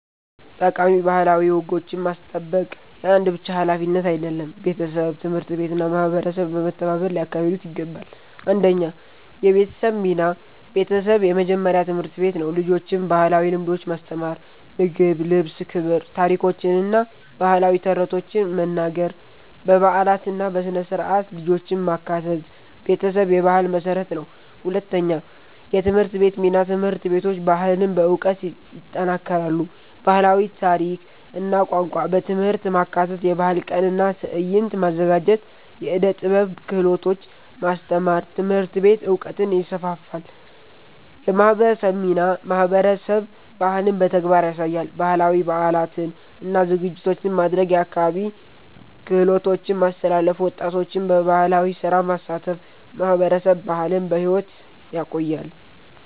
ጠቃሚ ባህላዊ ወጎችን ማስጠበቅ የአንድ ብቻ ሀላፊነት አይደለም፤ ቤተሰብ፣ ትምህርት ቤት እና ማህበረሰብ በመተባበር ሊያካሂዱት ይገባል። 1 የቤተሰብ ሚና ቤተሰብ የመጀመሪያ ትምህርት ቤት ነው። ልጆችን ባህላዊ ልምዶች ማስተማር (ምግብ፣ ልብስ፣ ክብር) ታሪኮችን እና ባህላዊ ተረቶችን መናገር በበዓላት እና በሥነ-ሥርዓት ልጆችን ማካተት ቤተሰብ የባህል መሠረት ነው። 2የትምህርት ቤት ሚና ትምህርት ቤቶች ባህልን በዕውቀት ይጠናክራሉ። ባህላዊ ታሪክ እና ቋንቋ በትምህርት ማካተት የባህል ቀን እና ትዕይንት ማዘጋጀት የዕደ ጥበብ ክህሎቶች ማስተማር ትምህርት ቤት ዕውቀትን ይስፋፋል። የማህበረሰብ ሚናማህበረሰብ ባህልን በተግባር ያሳያል። ባህላዊ በዓላትን እና ዝግጅቶችን ማድረግ የአካባቢ ክህሎቶችን ማስተላለፍ ወጣቶችን በባህላዊ ስራ ማሳተፍ ማህበረሰብ ባህልን በሕይወት ያቆያል።